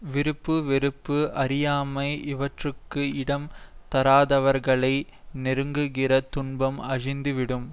விருப்பு வெறுப்பு அறியாமை இவற்றுக்கு இடம் தராதவர்களை நெருங்குகிற துன்பம் அழிந்துவிடும்